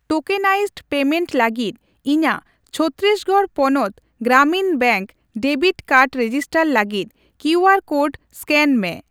Tokenised payment ᱞᱟᱹᱜᱤᱫ ᱤᱧᱟᱜ ᱪᱷᱚᱛᱛᱤᱥᱜᱚᱲ ᱯᱚᱱᱚᱛ Gramin bank debit card register ᱞᱟᱹᱜᱤᱫ ᱠᱤᱭᱩ ᱟᱨ ᱠᱳᱰ ᱮᱥᱠᱮᱱ ᱢᱮ ᱾